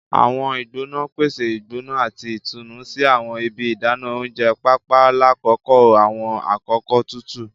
Awọn igbona n pese igbona ati itunu ni awọn ibi idana ounjẹ, paapaa lakoko awọn akoko tutu.